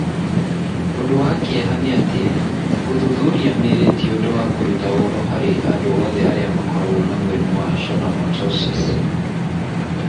Ũndũ wa kĩeha nĩ atĩ, gũthuthuria mĩri ti ũndũ wa kũruta ũhoro harĩ andũ othe arĩa makoragwo na mũrimũ wa schwannomatosis.